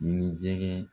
Ni jɛgɛ